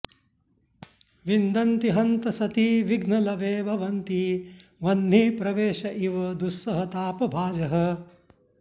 विन्दन्ति हन्त सति विघ्नलवे भवन्ति वह्निप्रवेश इव दुस्सहतापभाजः